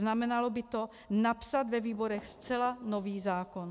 Znamenalo by to napsat ve výborech zcela nový zákon.